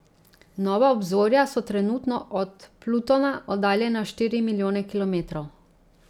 Nova Obzorja so trenutno od Plutona oddaljena štiri milijone kilometrov.